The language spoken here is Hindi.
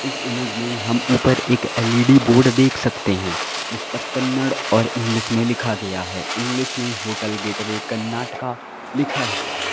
इस इमेज मे हम ऊपर एक एल_इ_डी बोर्ड देख सकते हैं जिस पर कन्नड़ और इंग्लिश में लिखा गया है इंग्लिश में होटल गेटवे कर्नाटक लिखा हुआ है।